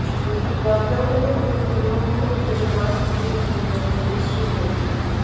লকডাউনের মধ্যে নিয়মভঙ্গ করে মাস্ক বিলি করলেন দেবশ্রী চৌধুরী